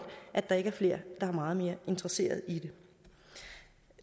at der ikke er flere der er meget mere interesseret i det